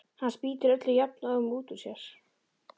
Hann spýtir öllu jafnóðum út úr sér.